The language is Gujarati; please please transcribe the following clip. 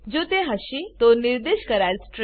જો તે હશે તો નિર્દેશ કરાયેલ સ્ટ્રીંગ